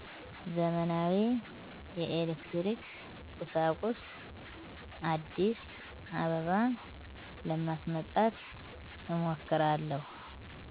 ዘመናዊ የኤሌክትሪክ ቁሣቁሥ። አዲስአበባ ለማስመጣት እሞክራለሁ።